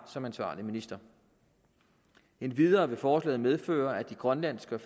som ansvarlig minister endvidere vil forslaget medføre at de grønlandske og